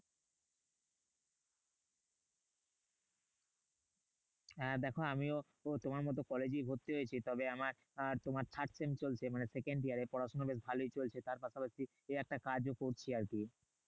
হ্যাঁ দেখো আমিও তোমার মতো কলেজেই ভর্তি হয়েছি। তবে আমার তোমার third same চলছে মানে second year এ। পড়াশোনা বেশ ভালোই চলছে তার পাশাপাশি একটা কাজও করছি আরকি।